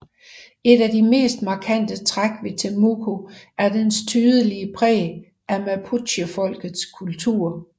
Et af de mest markante træk ved Temuco er dens tydelige præg af mapuchefolkets kultur